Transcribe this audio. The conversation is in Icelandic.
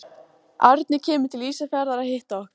Árni kemur til Ísafjarðar að hitta okkur.